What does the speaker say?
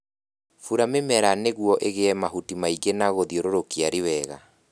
Bura mĩmera nĩguo ĩgĩe mahuti maingĩ na gũthiũrũrũkia riwega